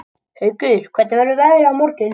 Haukur, hvernig verður veðrið á morgun?